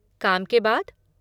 काम के बाद?